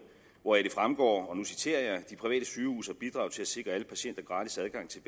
hvoraf det fremgår og nu citerer jeg de private sygehuse har bidraget til at sikre alle patienter gratis adgang til